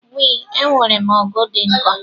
We, enwerem ọgụ dị nkọ